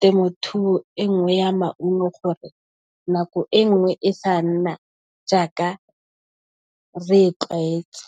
temothuo e nngwe ya maungo gore nako e nngwe e sa nna jaaka re e tlwaetse.